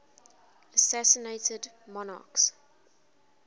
assassinated monarchs